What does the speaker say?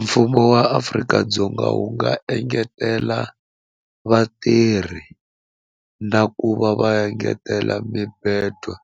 Mfumo wa Afrika-Dzonga wu nga engetela vatirhi na ku va va engetela mibedwa